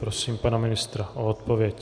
Prosím pana ministra o odpověď.